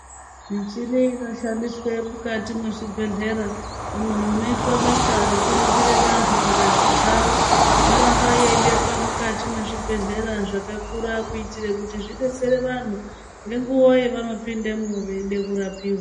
Muchini inoshandiswa mukati mezvibhedhlera umwo munoitwa basa rekuringira antu ngazi dzawo yoramba yeibekwa mukati mezvibhedhlera zvakakura kuitira kuti zvidetsere vantu ngenguva yavanopindamo veida kurapiwa .